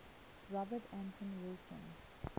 robert anton wilson